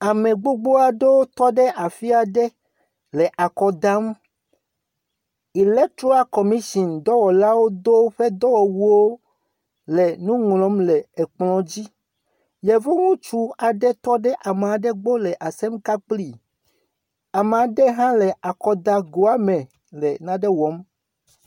Ame gbogbo aɖe tɔ ɖe afi aɖe nɔ akɔ dam. Elekitoral commishin dɔwɔlawo do woƒe dɔwɔwuwo le nu ŋlɔm le ekplɔ dzi, yevu ŋutsu aɖe tɔ ɖe ame aɖe gbɔ le asem ka kpli. Ame aɖe hã le akɔdagoa me le nane wɔm.